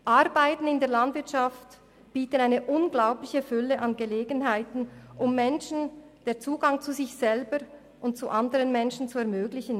: Arbeiten in der Landwirtschaft bieten eine unglaubliche Fülle von Gelegenheiten, um Menschen den Zugang zu sich selber und zu andern Menschen zu ermöglichen.